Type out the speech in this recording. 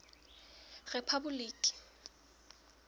rephaboliki